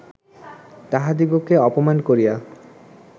তাঁহাদিগকে অপমান করিয়া